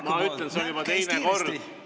Ma ütlen, see on juba teine kord.